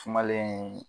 Sumalen